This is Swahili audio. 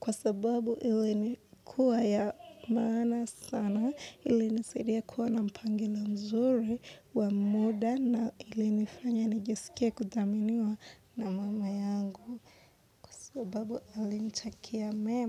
kwa sababu ili nikuwa ya maana sana ilinisadia kuwa na mpangilio mzuri wa muda na ili nifanya nijisikie kudhaminiwa na mama yangu sababu alinitakia mema.